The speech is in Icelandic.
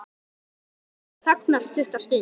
Sigga þagnar stutta stund.